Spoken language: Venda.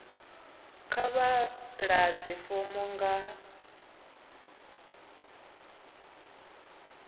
kha vha ḓadze fomo nga